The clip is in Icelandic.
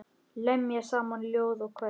Lemja saman ljóð og kvæði.